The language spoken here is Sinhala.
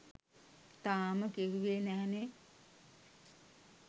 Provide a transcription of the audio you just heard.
තාම කිව්වේ නැහැනේ